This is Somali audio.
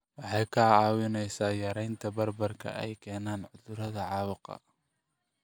Waxay kaa caawinaysaa yaraynta bararka ay keenaan cudurrada caabuqa.